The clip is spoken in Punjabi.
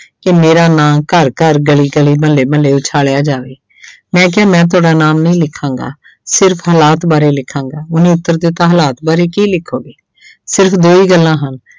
ਕਿ ਮੇਰਾ ਨਾਂ ਘਰ-ਘਰ, ਗਲੀ-ਗਲੀ, ਮੁਹੱਲੇ-ਮੁਹੱਲੇ ਉਛਾਲਿਆ ਜਾਵੇ ਮੈਂ ਕਿਹਾ ਮੈਂ ਤੁਹਾਡਾ ਨਾਮ ਨਹੀਂ ਲਿਖਾਂਗਾ ਸਿਰਫ਼ ਹਾਲਾਤ ਬਾਰੇ ਲਿਖਾਂਗਾ, ਉਹਨੇ ਉੱਤਰ ਦਿੱਤਾ ਹਾਲਾਤ ਬਾਰੇ ਕੀ ਲਿਖੋਗੇ ਸਿਰਫ਼ ਦੋ ਹੀ ਗੱਲਾਂ ਹਨ